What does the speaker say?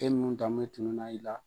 E nun danbe tununa i la